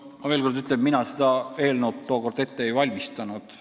Ma veel kord ütlen, et mina seda eelnõu tookord ette ei valmistanud.